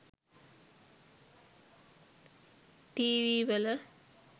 TV වල